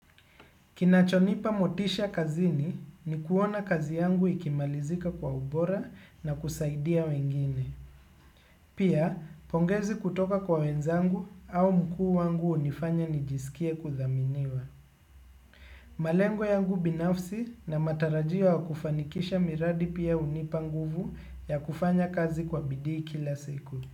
Kinachonipa motisha kazini ni kuona kazi yangu ikimalizika kwa ubora na kusaidia wengine. Pia, pongezi kutoka kwa wenzangu au mkuu wangu hunifanya nijisikie kuthaminiwa. Malengo yangu binafsi na matarajiwa ya kufanikisha miradi pia hunipa nguvu ya kufanya kazi kwa bidii kila siku.